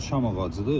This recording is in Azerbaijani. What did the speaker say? Şam ağacıdır.